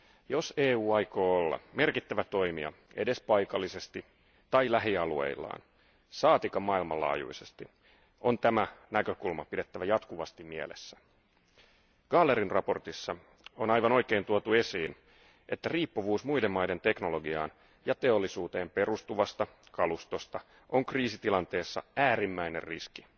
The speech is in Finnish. Jos EU aikoo olla merkittävä toimija edes paikallisesti tai lähialueillaan, saatikka maailmanlaajuisesti, on tämä näkökulma pidettävä jatkuvasti mielessä. Gahlerin mietinnössä on aivan oikein tuotu esiin, että riippuvuus muiden maiden teknologiaan ja teollisuuteen perustuvasta kalustosta on kriisitilanteessa äärimmäinen riski.